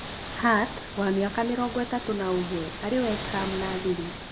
Hart, wa mĩaka mĩrongo ĩtatũ na ũmwe ararĩ West Ham na thirĩ